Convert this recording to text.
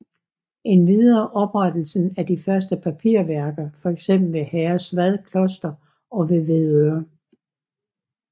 Endvidere oprettelsen af de første papirværker fx ved Herresvad Kloster og ved Hvidøre